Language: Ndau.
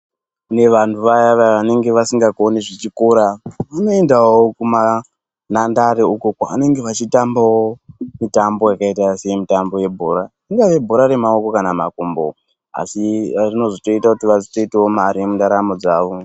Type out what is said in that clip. Kune vantu vaya vaya vanenge vasikakoni zvechikora, vanoendawo kumanhandare ukwo kwavanenge vachitambawo mitambo yakaita semitambo yebhora. Ingava yebhora remaoko kana kuti makumbo asi rinozotoita kuti vazotoitawo mare mundaramo dzawo.